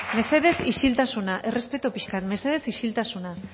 mesedez isiltasuna errespetu pixkat mesedez isiltasuna